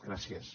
gràcies